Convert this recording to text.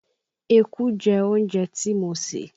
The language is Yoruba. Eku jẹ oúnjẹ tí mo sè